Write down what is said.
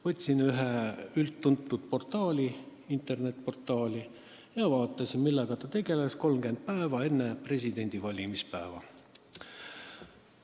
Võtsin ühe üldtuntud internetiportaali ja vaatasin, millega seal tegeleti 30 päeva enne presidendi valimispäeva.